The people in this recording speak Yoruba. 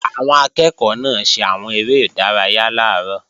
Àwọn akẹ́ẹ̀kọ́ náà ṣe àwọn eré ìdárayá làárọ̀